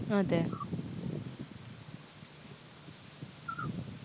അതെ